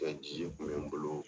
N ka kun be n bolo